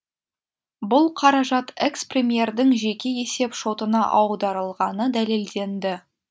бұл қаражат экс премьердің жеке есеп шотына аударылғаны дәлелденді